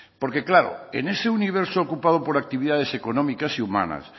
porque claro en ese universo ocupado por actividades económicas y humanas